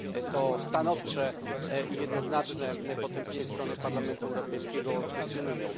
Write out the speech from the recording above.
to stanowcze i jednoznaczne potępienie ze strony Parlamentu Europejskiego kwestionują.